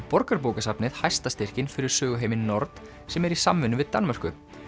Borgarbókasafnið hæsta styrkinn fyrir nord sem er í samvinnu við Danmörku